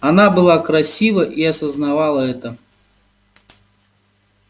она была красива и осознавала это